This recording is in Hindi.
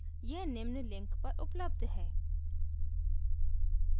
यह निम्न link पर उपलब्ध है